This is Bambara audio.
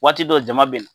Waati dɔ jama bɛ na